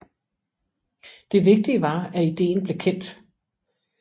Det vigtige var at ideen blev kendt